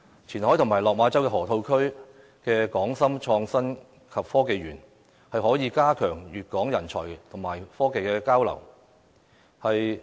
前海及落馬州河套區的"港深創新及科技園"，可以加強粵港人才和技術交流。